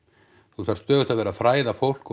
þú þarft stöðugt að vera að fræða fólk og